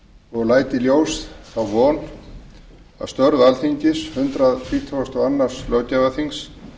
og læt í ljós þá von að störf alþingis hundrað þrítugasta og öðrum löggjafarþings